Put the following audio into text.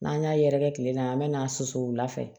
N'an y'a yɛrɛkɛ tile la an bɛ na su wula fɛ